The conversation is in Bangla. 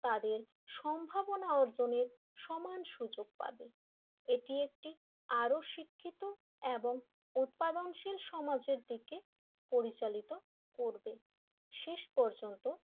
তাদের সম্ভাবনা অর্জনের সমান সুযোগ পাবে এটি একটি আরো শিক্ষিত এবং উৎপাদনশীল সমাজের দিকে পরিচালিত করবে শেষ পর্যন্ত,